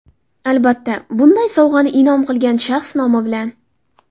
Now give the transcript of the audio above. Albatta, bunday sovg‘ani in’om qilgan shaxs nomi bilan.